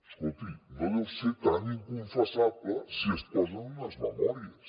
escolti no deu ser tan inconfessable si es posa en unes memòries